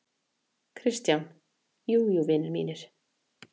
KRISTJÁN: Jú, jú, vinir mínir!